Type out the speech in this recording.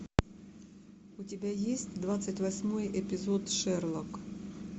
у тебя есть двадцать восьмой эпизод шерлок